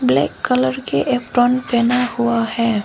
Black colour के पहना हुआ है।